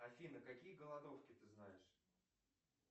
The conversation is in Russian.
афина какие голодовки ты знаешь